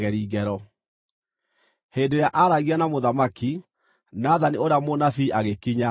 Hĩndĩ ĩrĩa aaragia na mũthamaki, Nathani ũrĩa mũnabii agĩkinya.